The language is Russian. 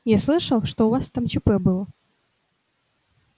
я слышал что у вас там чп было